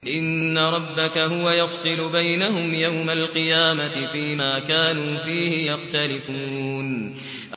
إِنَّ رَبَّكَ هُوَ يَفْصِلُ بَيْنَهُمْ يَوْمَ الْقِيَامَةِ فِيمَا كَانُوا فِيهِ يَخْتَلِفُونَ